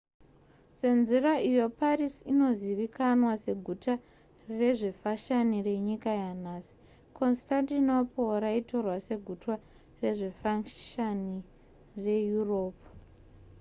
senzira iyo paris inozivikanwa seguta rezvefashani renyika yanhasi constantinople raitorwa seguta rezvefashani reeurope